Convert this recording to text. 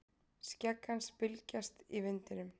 Skegg hans bylgjast í vindinum.